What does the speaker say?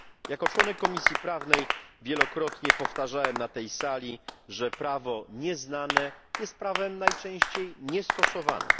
Jako członek Komisji Prawnej wielokrotnie powtarzałem na tej sali, że prawo nieznane jest prawem najczęściej niestosowanym.